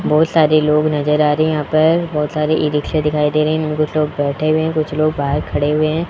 बहुत सारे लोग नजर आ रहे है यहां पर बहोत सारे ई-रिक्शा दिखाई दे रही है उनमे कुछ लोग बैठे हुए कुछ लोग बाहर खड़े हुए है।